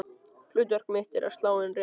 Hlutverk mitt er að slá inn réttar tölur.